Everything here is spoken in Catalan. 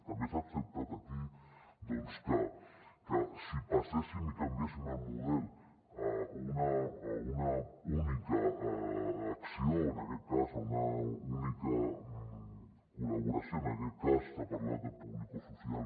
també s’ha acceptat aquí doncs que si passéssim i canviéssim el model a una única acció o en aquest cas a una única col·laboració en aquest cas s’ha parlat de publicosocial